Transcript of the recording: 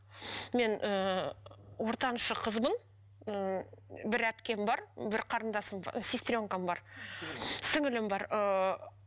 мен ыыы ортаншы қызбын ы бір әпкем бар бір қарындасым сестренкам бар сіңілілім бар ыыы